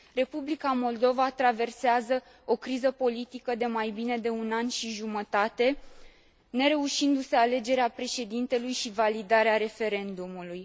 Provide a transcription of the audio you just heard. Republica Moldova traversează o criză politică de mai bine de un an și jumătate, nereușindu se alegerea președintelui și validarea referendumului.